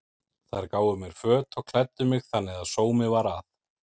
Þær gáfu mér föt og klæddu mig þannig að sómi var að.